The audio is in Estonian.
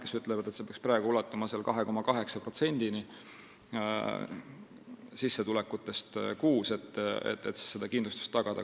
Need ütlevad, et see makse peaks praegu ulatuma 2,8%-ni sissetulekutest kuus, et seda kindlustust tagada.